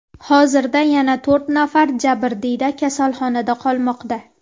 Hozirda yana to‘rt nafar jabrdiyda kasalxonada qolmoqda.